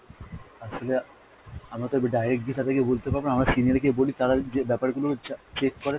আসলে আমরা তো direct গিয়ে তাদের গিয়ে বলতে পারবোনা, আমরা senior কে বলি, তারা যে ব্যাপার গুলো চা~ check করে